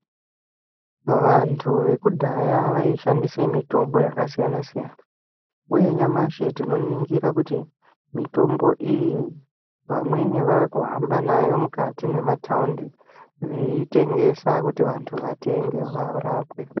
Vantu vekudhaya vaishandisa mitombo yakasiyana siyana ,uye nyamashi tinoningira kuti mitombo iyi vamweni vakuhamba nayo mukati memwataundi veitengesa kuti vantu vatenge varapwe.